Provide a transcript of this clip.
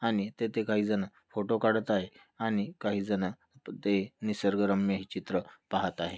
आणि तेथे काही जन फोटो काढत आहे आणि काही जन तिथे निसर्गरम्य हे चित्र पाहत आहे.